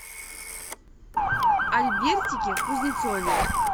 альбертике кузнецове